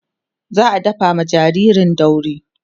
za'a dafa ma jinjirin dauri